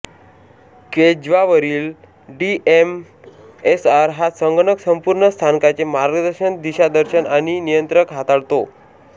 झ्वेज्दावरील DMSR हा संगणक संपूर्ण स्थानकाचे मार्गदर्शन दिशादर्शन आणि नियंत्रण हाताळतो